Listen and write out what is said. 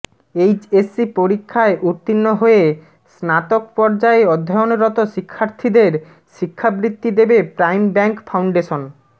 HSC পরীক্ষায় উত্তীর্ণ হয়ে স্নাতক পর্যায়ে অধ্যয়নরত শিক্ষার্থীদের শিক্ষাবৃত্তি দেবে প্রাইম ব্যাংক ফাউন্ডেশন